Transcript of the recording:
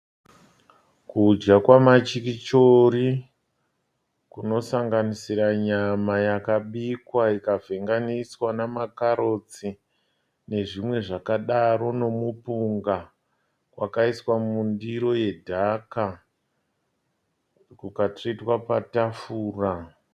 Kudya kwamachikichori kunosanganisira nyama yakabikwa ikavhenganiswa nemakarotsi nezvimwe zvakadaro nemupunga. Kwakaiswa mundiro yedhaka kukatsvetwa patafura.